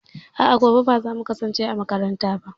A'a, gobe ba za mu kasance a makaranta ba.